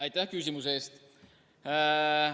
Aitäh küsimuse eest!